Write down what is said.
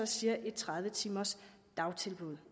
siger et tredive timers dagtilbud